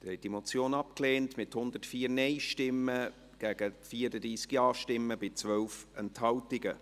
Sie haben diese Motion abgelehnt, mit 104 Nein- gegen 34 Ja-Stimmen bei 12 Enthaltungen.